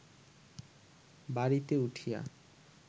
বাড়িতে উঠিয়া